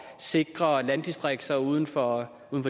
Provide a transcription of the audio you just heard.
sikre landdistrikterne uden for